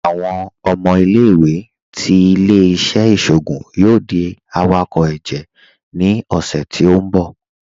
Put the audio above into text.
Awọn ọmọ ilẹ̀-iwé ti ilẹ̀-iṣẹ̀ iṣoogun yoo di awakọ ẹjẹ ni ọṣẹ ti n bọ̀.